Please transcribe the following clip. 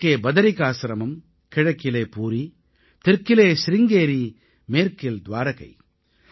வடக்கே பதரிகாஸ்ரமம் கிழக்கில் பூரி தெற்கிலே சிருங்கேரி மேற்கில் த்வாரகை